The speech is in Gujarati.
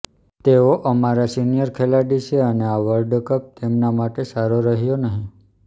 તેઓ અમારા સીનિયર ખેલાડી છે અને આ વર્લ્ડ કપ તેમના માટે સારો રહ્યો નહીં